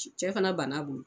Cɛ fana banna a bolo